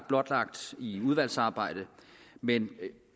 blotlagt i udvalgsarbejdet men